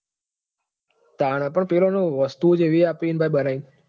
તાન પેલાનો વસ્તુ જ એવી આપી ને બનાવીને.